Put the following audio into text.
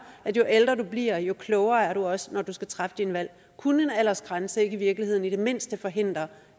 at jo ældre du bliver jo klogere er du også når du skal træffe dine valg kunne en aldersgrænse ikke i virkeligheden i det mindste forhindre